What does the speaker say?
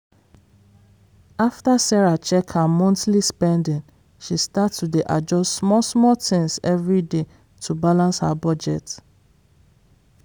after sarah check her monthly spending she start to dey adjust small-small things every day to balance her budget.